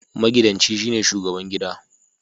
Magidanci shine shubagaban gida